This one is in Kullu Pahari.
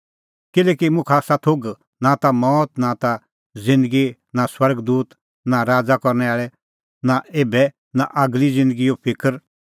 किल्हैकि मुखा आसा थोघ कि नां मौत नां ज़िन्दगी नां स्वर्ग दूत नां राज़ करनै आल़ै नां एभै नां आगली ज़िन्दगीए फिकर नां शगती नां उछ़टी ज़ैगा